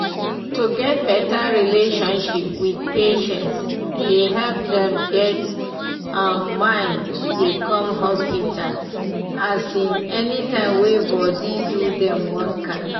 to get better relationship with patients dey help dem get um mind dey come hospital um any time wey body do dem one kind.